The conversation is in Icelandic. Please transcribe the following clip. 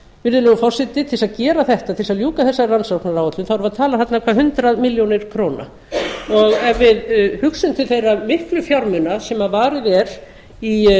virðulegur forseti til þess að gera þetta til þess að ljúka þessari rannsóknaráætlun þarf að tala þarna um hundrað milljónir króna og ef við hugsun til þeirra miklu fjármuna sem varið er í